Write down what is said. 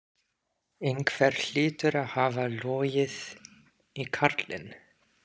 Einhver hlýtur að hafa logið í karlinn.